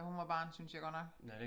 Da hun var barn synes jeg godt nok